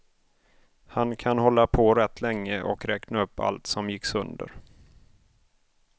Han kan hålla på rätt länge och räkna upp allt som gick sönder.